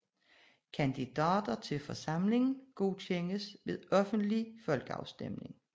Kandidater til forsamlingen godkendes ved offentlig folkeafstemning